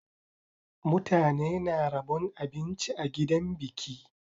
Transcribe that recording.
Mutane na rabon abinci a gidan biki.